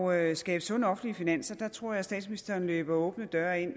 at skabe sunde offentlige finanser tror jeg at statsministeren løber åbne døre ind